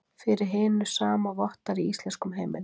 Fyrir hinu sama vottar í íslenskum heimildum.